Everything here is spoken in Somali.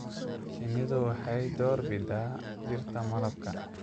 Shinnidu waxay door bidaa dhirta malabka.